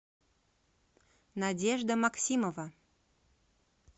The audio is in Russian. надежда максимова